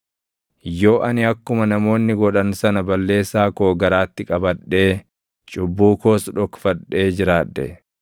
Yoo ani akkuma namoonni godhan sana balleessaa koo garaatti qabadhee cubbuu koos dhokfadhee jiraadhe,